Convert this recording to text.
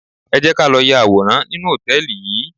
Ẹ jẹ́ ká lọ ya àwòrán nínú hòtẹ́ẹ̀lì yìí.